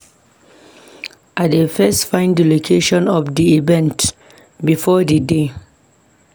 I dey first find di location of di event before d d-day.